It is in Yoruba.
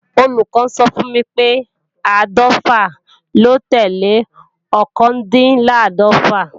Olùkọ́ sọ fún mi pé áàdọ́fà ló tẹ́lẹ̀ ọkàndínláàdọ́fà